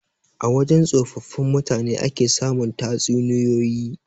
A wajan tsofaffin mutane ake samun tatsuniyoyi.